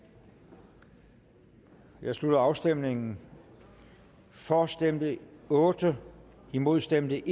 nu jeg slutter afstemningen for stemte otte imod stemte